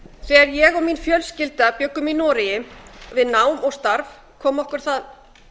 þegar ég og mín fjölskylda bjuggum í noregi við nám og starf kom okkur það